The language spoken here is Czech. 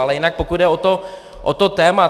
Ale jinak pokud jde o to téma.